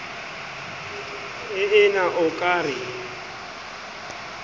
ee na o ka re